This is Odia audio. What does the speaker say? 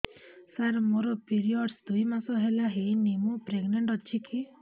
ସାର ମୋର ପିରୀଅଡ଼ସ ଦୁଇ ମାସ ହେଲା ହେଇନି ମୁ ପ୍ରେଗନାଂଟ ଅଛି କି